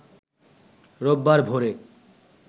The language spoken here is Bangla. রোববার ভোরে